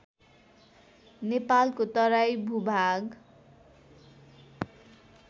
नेपालको तराई भूभाग